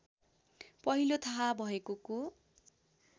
पहिलो थाहा भएकोको